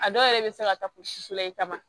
A dɔw yɛrɛ bɛ se ka taa fo si fila in ta ma